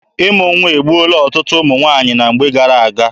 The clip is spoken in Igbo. Ịmụ nwa egbuola ọtụtụ ụmụ nwaanyị na mgbe gara aga.